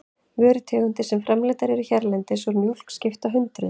Vörutegundir sem framleiddar eru hérlendis úr mjólk skipta hundruðum.